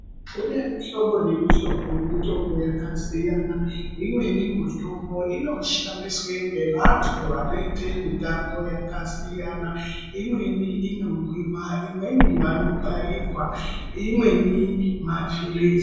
Kune mihlobo nemihlobo yemitombo yakasiyana imweni mitombo inoshandiswe ngevantu vanoite mitambo yakasiyana imweni inomwiwa imweni vanobairwa imweni mapilizi.